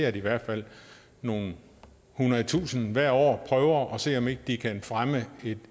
at i hvert fald nogle hundrede tusinde hvert år prøver at se om ikke de kan fremme